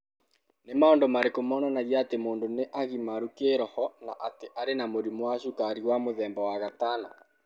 Nĩ maũndũ marĩkũ monanagia atĩ mũndũ nĩ agimaru kĩĩroho, na atĩ arĩ na mũrimũ wa cukari wa mũthemba wa gatano?